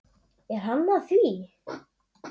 Er hann að því?